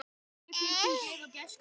Það yrði mjög gaman.